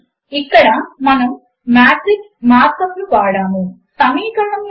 ఇది మీరు చేయవలసిన ఎసైన్మెంట్ ఒక 2క్స్3 మాత్రిక బై ఒక 3క్స్1 మాత్రిక యొక్క గుణకారమునకు స్టెప్ లను వ్రాయండి